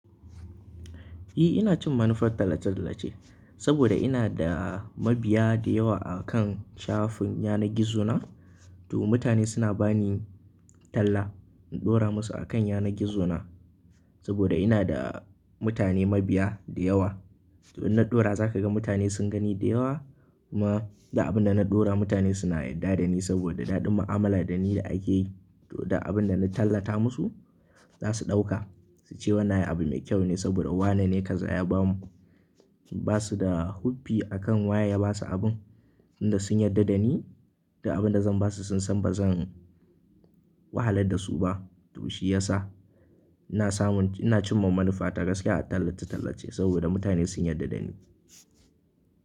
Ehh ina cin manufar tallace-tallace saboda ina da mabiya dayawa akan shafin yanar gizo na. To mutane suna bani talla in ɗora musu akan yanar gizo na saboda ina da mutane mabiya da yawa. To ina ɗora zaka ga mutane sun gani da yawa kuma da abin da na ɗora mutane suna yarda da ni saboda daɗin mu'amala da ni da ake yi. Ehh ina cin manufar tallace-tallace saboda ina da mabiya dayawa akan shafin yanar gizo na. Ba su da hoffi akan waye ya basu abun tunda sun yarda da ni duk abin da zan basu sun san ba zan wahalar da su ba. To shi ya sa ina samun, ina cin manufa ta gaskiya a tallace-tallace saboda mutane sun yarda da ni.